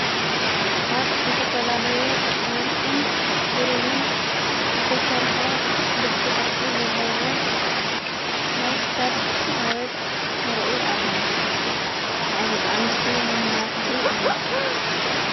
ካብ ዘተፈላለየ ወርቅን ብሩርን ዘተሠርሐ ልቢ ቕርፂ ዘለዎ ናይክሳድ ሃበል ንርኢ ኣለና ናይ ደቃንስትዩ መመላኽዑ እዩ::